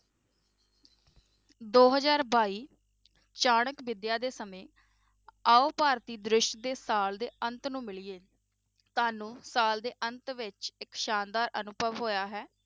ਦੋ ਹਜ਼ਾਰ ਬਾਈ ਚਾਣਕ ਵਿੱਦਿਆ ਦੇ ਸਮੇਂ ਆਓ ਭਾਰਤੀ ਦ੍ਰਿਸ਼ ਦੇ ਸਾਲ ਦੇ ਅੰਤ ਨੂੰ ਮਿਲੀਏ, ਤੁਹਾਨੂੰ ਸਾਲ ਦੇ ਅੰਤ ਵਿੱਚ ਇੱਕ ਸ਼ਾਨਦਾਰ ਅਨੁਭਵ ਹੋਇਆ ਹੈ।